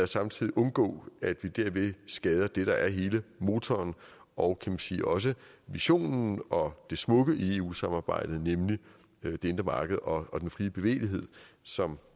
samtidig undgå at vi derved skader det der er hele motoren og kan man sige også visionen og det smukke i eu samarbejdet nemlig det indre marked og den frie bevægelighed som